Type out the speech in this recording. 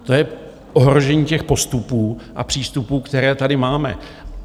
To je ohrožení těch postupů a přístupů, které tady máme.